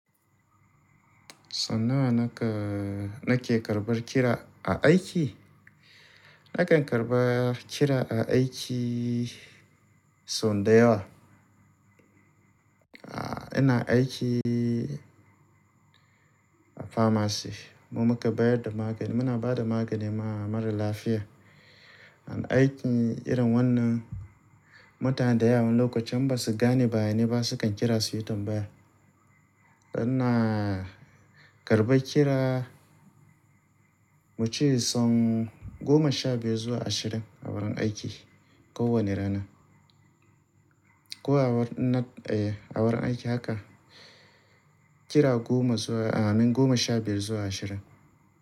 So nawa nake, nake karbar kira a aiki? Nakan karba kira a aiki so dayawa. Ah, ina aiki a pharmacy. Mu mukan bayar da magani, muna ba da magani ma maralafiya. Aiki irin wannan, mutane da yawa wani lokaci in ba su gane bayani ba sukan kira su yi tambaya. Ina karɓar kira muce son goma sha biyar zuwa ashirin a wurin aiki kowane rana. Ko a wuri, eh a wurin aiki haka kira goma zuwa, i mean goma sha biyar zuwa ashirin.